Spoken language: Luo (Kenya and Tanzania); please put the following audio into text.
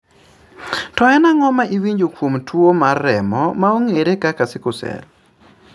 To en ang'o ma iwinjo kuom twoo mar remo maong'eere kaka Sickle Cell?